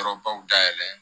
Yɔrɔbaw dayɛlɛ